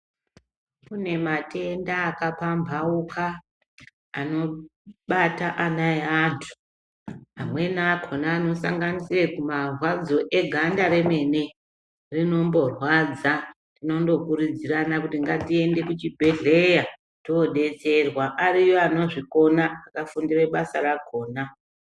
Kune matenda akapamhauka anobata ana eantu, amweni akhona anosanganisira marwadzo eganda remene rinondorwadza. Tinondokurudzirana kuti ngatiende kuchibhedhlera tobetserwa ariyo anozvikona akafundira basa rakhona.